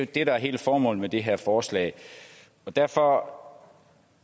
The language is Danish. det der er hele formålet med det her forslag derfor